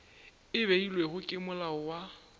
e beilwego ke molao wa